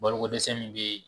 Baloko dɛsɛ min be